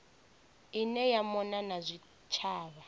ine ya mona na zwitshavha